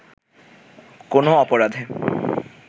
কোনও অপরাধে